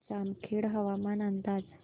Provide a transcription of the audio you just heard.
जामखेड हवामान अंदाज